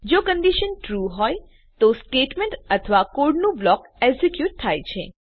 જો condition true હોય છે તો સ્ટેટમેંટ અથવા કોડનું બ્લોક એક્ઝેક્યુટ થાય છે